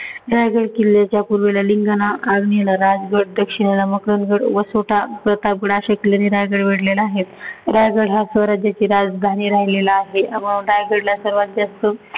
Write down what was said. रायगड किल्ल्याच्या पूर्व ललिंगाणा, अरणीला राजगड, दक्षिणेला मकारज, वासोटा, प्रतापगड असे किल्ल्यांनी रायगड वेढलेला आहे. रायगड स्वराज्याची राजधानी राहिलेला आहे. रायगडला सर्वांत जास्त